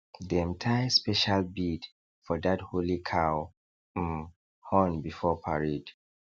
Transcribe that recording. dem tie special bead for that holy cow um horn before parade